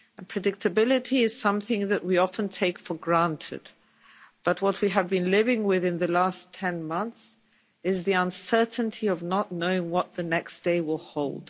Predictability is something that we often take for granted, but what we have been living with in the last 10 months is the uncertainty of not knowing what the next day will hold.